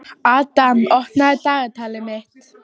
Adam, opnaðu dagatalið mitt.